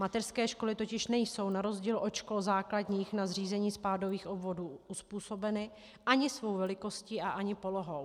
Mateřské školy totiž nejsou na rozdíl od škol základních na zřízení spádových obvodů uzpůsobeny ani svou velikostí a ani polohou.